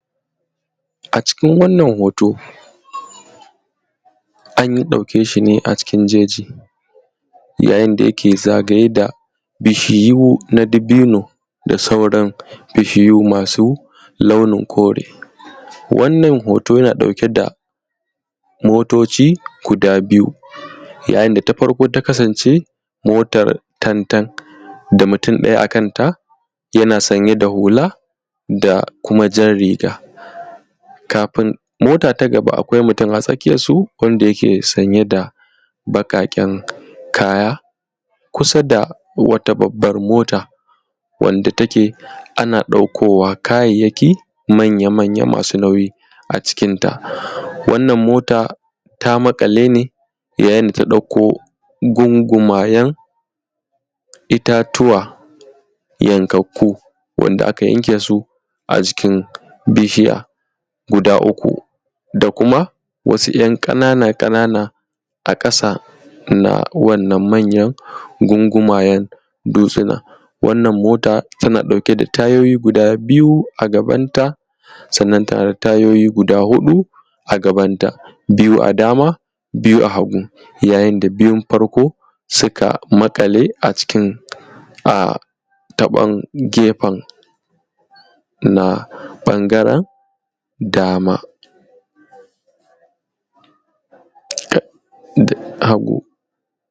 A cikin wannan hoto an ɗauke shi ne a cikin jeji, yayin da ya ke zagaye da bishiyu na dabino da sauran bishiyu masu launi kore. Wannan hoto yana ɗauke da motoci guda biyu, yayin da ta farko ta kasance motar tantan da mutum ɗaya a kan ta, yana sanye da hula da kuma jan riga, kafin mota ta gaba akwai mutum a tsakiyarsu wanda yake sanye da baƙaƙen kaya, kusa da wata babbar mota. Wanda take ana ɗaukowa kayayyaki manya-manya masu nauyi a cikinta. Wannan mota ta maƙale ne yayin da ta ɗauko gungumayen itatuwa yankakku, wanda aka yanke su a jikin bishiya guda uku da kuma wasu ‘yan ƙanana-ƙanana a ƙasa na wannan manyan gungumayen dutsuna. Wannan mota tana ɗauke da tayoyi guda biyu a gabanta, sannan tana da tayoyi guda huɗu a gabanta biyu a dama biyu a hagu, yayin da biyun farko suka maƙale a cikin a taɓon gefen na ɓangaren dama. kakk dd hagu.